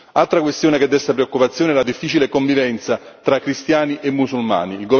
Altra questione che desta preoccupazione è la difficile convivenza tra cristiani e musulmani.